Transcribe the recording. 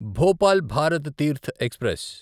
Bhopal Bharat Tirth express